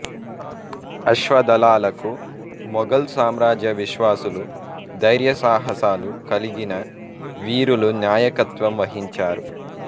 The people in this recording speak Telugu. అశ్వదళాలకు ముగల్ సామ్రాజ్య విశ్వాసులు ధైర్యసాహసాలు కలిగిన వీరులు నాయకత్వం వహించారు